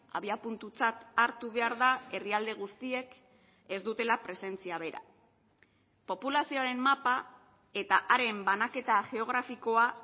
abiapuntutzat hartu behar da herrialde guztiek ez dutela presentzia bera populazioaren mapa eta haren banaketa geografikoa